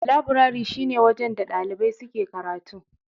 Labirari shi ne wajen da ɗalibai suke karatu.